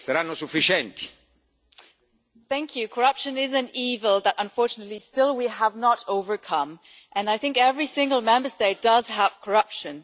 Mr President, corruption is an evil that unfortunately still we have not overcome, and I think every single Member State does have corruption.